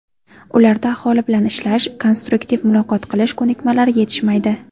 Ularda aholi bilan ishlash, konstruktiv muloqot qilish ko‘nikmalari yetishmaydi.